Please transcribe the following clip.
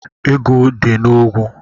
Ego dị na ogwu.